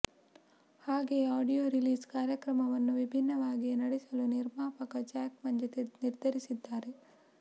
ಹಾಗೆಯೇ audio release ಕಾರ್ಯಕ್ರಮವನ್ನು ವಿಭಿನ್ನವಾಗಿಯೇ ನಡೆಸಲು ನಿರ್ಮಾಪಕ ಜಾಕ್ ಮಂಜು ನಿರ್ಧರಿಸಿದ್ದಾರೆ